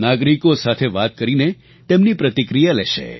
નાગરિકો સાથે વાત કરીને તેમની પ્રતિક્રિયા લેશે